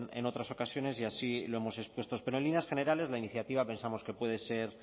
en otras ocasiones y así lo hemos expuesto pero en líneas generales la iniciativa pensamos que puede ser